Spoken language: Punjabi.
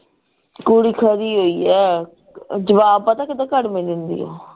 ਕੁੜੀ ਖਰੀ ਹੋਈ ਐ ਜਵਾਬ ਪਤਾ ਕਿੱਦਾਂ ਘੜਵੇ ਦਿੰਦੀ ਓ